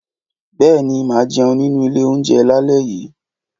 Bèéní, má jéun nínú ìlé ounjé làlé yí